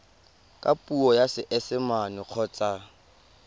ka puo ya seesimane kgotsa